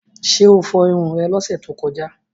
Ṣé o fọrun rẹ lọ́sẹ̀ tó kọjá?